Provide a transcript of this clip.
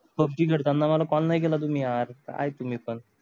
hockey खेळतांना मला काल नाही केला तुम्ही यार काय तुम्ही पण